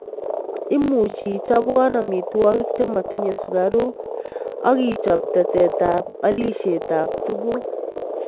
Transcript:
Imuchi ichabwan amitwagik chematinye sugaruk ak ichab tetet ab alishet ab tuguk